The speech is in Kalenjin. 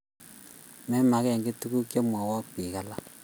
Menagekiy tuguk chemwoe biik alak